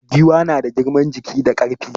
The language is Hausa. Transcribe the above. Giwa na da girman jiki ga ƙarfi.